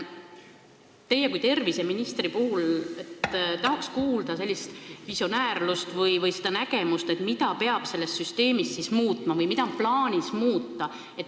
Teilt kui terviseministrilt tahaks kuulda visiooni või nägemust, mida peab süsteemis muutma või mida on plaanis muuta.